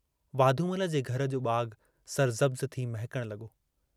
वाधूमल जे घर जो बागु सरसब्ज़ थी महकण लगो।